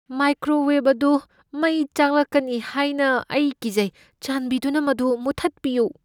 Microwave ꯑꯗꯨ ꯃꯩ ꯆꯥꯛꯂꯛꯀꯅꯤ ꯍꯥꯏꯅ ꯑꯩ ꯀꯤꯖꯩ꯫ ꯆꯥꯟꯕꯤꯗꯨꯅ ꯃꯗꯨ ꯃꯨꯊꯠꯄꯤꯌꯨ꯫